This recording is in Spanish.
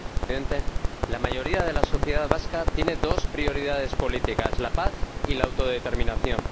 Señor Presidente, la mayoría de la sociedad vasca tiene dos prioridades políticas la paz y la autodeterminación.